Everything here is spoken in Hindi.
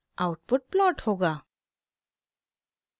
आउटपुट प्लॉट होगा